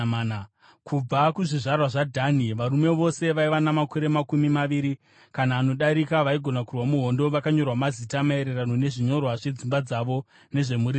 Kubva kuzvizvarwa zvaDhani: Varume vose vaiva namakore makumi maviri kana anodarika, vaigona kurwa muhondo vakanyorwa mazita, maererano nezvinyorwa zvedzimba dzavo nezvemhuri dzavo.